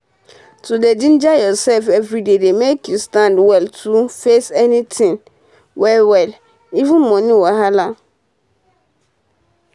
to dey ginger ursef everyday dey make you stand well to face anytin well well even moni wahala